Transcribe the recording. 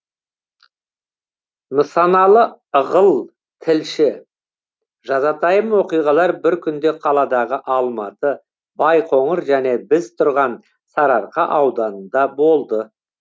нысаналы ығыл тілші жазатайым оқиғалар бір күнде қаладағы алматы байқоңыр және біз тұрған сарыарқа ауданында болды